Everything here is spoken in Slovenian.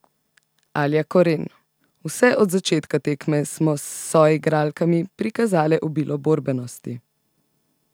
Alja Koren: "Vse od začetka tekme smo s soigralkami prikazale obilo borbenosti.